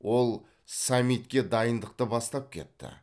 ол саммитке дайындықты бастап кетті